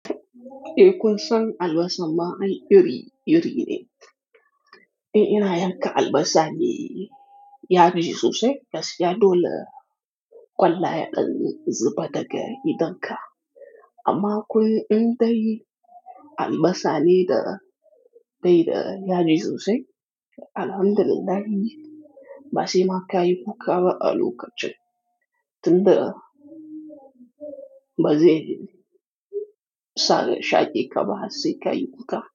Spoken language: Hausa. Eh, kun san albasa ma ai iri iri ne. In ina yanka albasa ne yaji sosai, basu ya dole ƙwallaye ɗin zuba daga idonka. Amma akwai in dai albasa ne da bai da yaji sosai, alhamdu lillahi ba sai ma ka yi wuƙa ba a lokacin. Tun da bazai sare shaki ka ba har sai ka yi wuƙa.